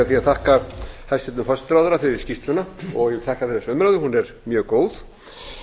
því að þakka hæstvirtum forsætisráðherra fyrir skýrsluna og ég þakka þessa umræðu hún er mjög góð